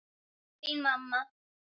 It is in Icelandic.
Þín, mamma.